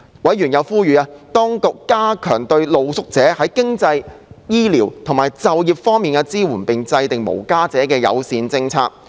委員又呼籲當局加強對露宿者在經濟、醫療及就業方面的支援，並制訂無家者友善措施。